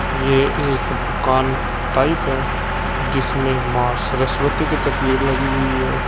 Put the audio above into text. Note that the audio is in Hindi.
ये एक दुकान टाइप है जिसमे मां सरस्वती की तस्वीर लगी हुई है।